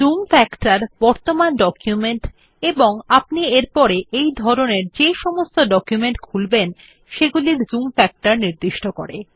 zoom factor বর্তমান document এবং আপনি এরপরে এই ধরনের যে সমস্ত ডকুমেন্ট খুলবেন সেগুলির জুম ফ্যাক্টর নির্দিষ্ট করে